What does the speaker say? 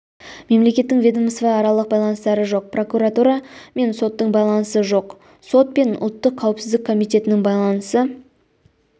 мемлекеттің ведомствоаралық байланыстары жоқ прокуратура мен соттың байланысы жоқ сот пен ұлттық қауіпсіздік комитетінің байланысы